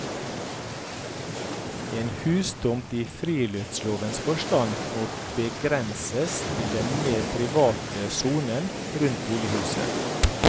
En hustomt i friluftslovens forstand må begrenses til den mer private sonen rundt bolighuset.